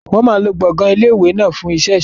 Wọn máa lo gbọ̀ngàn ilé ìwé náà fún iṣẹ́ ìṣòwò.